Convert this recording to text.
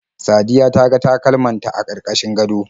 Sadiya ta ga takalman ta a karkashin gado.